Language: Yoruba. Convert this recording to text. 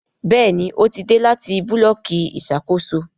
Béèni o tí dé láti Búlọ̀kì Ìṣàkóso.